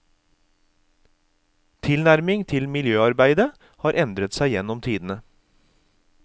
Tilnærmingen til miljøarbeidet har endret seg gjennom tidene.